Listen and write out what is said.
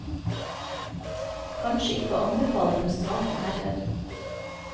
Kanskje ikke å anbefale for sarte herrer.